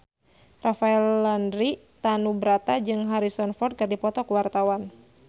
Rafael Landry Tanubrata jeung Harrison Ford keur dipoto ku wartawan